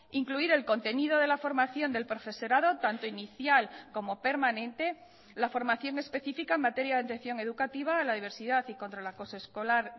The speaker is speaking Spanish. incluir el contenido de la formación del profesorado tanto inicial como permanente la formación específica en materia de atención educativa a la diversidad y contra el acoso escolar